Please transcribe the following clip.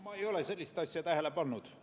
Ma ei ole sellist asja tähele pannud.